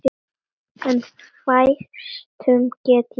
En fæstum get ég lýst.